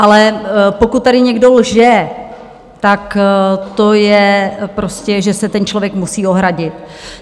Ale pokud tady někdo lže, tak to je prostě, že se ten člověk musí ohradit.